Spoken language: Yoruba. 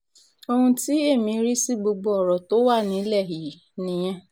ohun tí èmi rí sí gbogbo ọ̀rọ̀ tó wà nílẹ̀ yìí nìyẹn